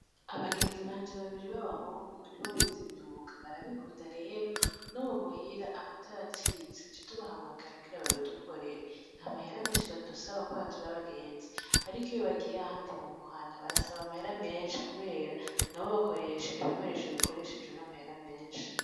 Abagenzi banje babiri baa bahungu nibo bize umwuga , barabikunda rero n'ubu muhira amatara acitse ce tubahamagara babidukorere , nta mahera menshi badusaba kubera turi abagenzi ariko iyo bagiye ahandi mu muhana barasaba amahera menshi kubera nabo bakoresha ibikoresho bikoreshejwe n'amahera menshi.